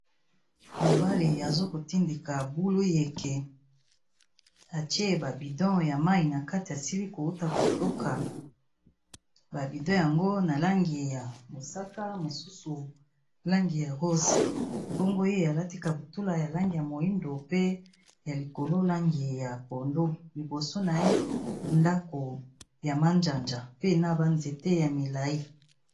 Mobali aza kotindika bulu yeké atié ba bidon ya mayi na kati asili ko wuta kotoka. Ba bidon yango na langi ya mosaka, mosusu langi ya rose, bongo ye alati kaputula ya langi ya moyindo pe ya likolo langi ya pondo liboso na ye ndako ya manzaza, pe na ba nzéte ya milayi.